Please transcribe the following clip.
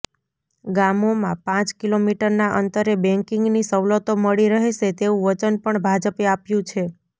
ગામોમાં પાંચ કિલોમીટરના અંતરે બેન્કિંગની સવલતો મળી રહેશે તેવું વચન પણ ભાજપે આપ્યું છે